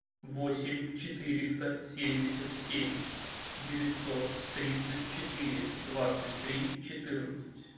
восемь четыреста семьдесят семь девятьсот тридцать четыре двадцать три четырнадцать